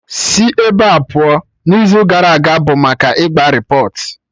Sị ebea pụọ, n'izu gara aga bụ maka ịgba repọt!